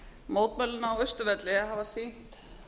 mótmælin á austurvelli hafa sýnt